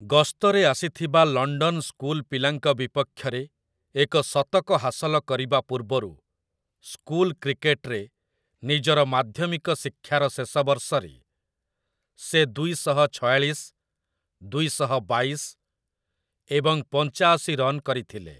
ଗସ୍ତରେ ଆସିଥିବା London school ପିଲାଙ୍କ ବିପକ୍ଷରେ ଏକ ଶତକ ହାସଲ କରିବା ପୂର୍ବରୁ ସ୍କୁଲ କ୍ରିକେଟରେ ନିଜର ମାଧ୍ୟମିକ ଶିକ୍ଷାର ଶେଷ ବର୍ଷରେ ସେ ଦୁଇଶହ ଛୟାଳିଶ, ଦୁଇଶହ ବାଇଶ ଏବଂ ପଞ୍ଚାଅଶି ରନ୍ କରିଥିଲେ ।